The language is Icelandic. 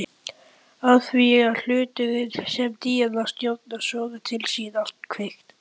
Afþvíað hláturinn sem Díana stjórnar sogar til sín allt kvikt.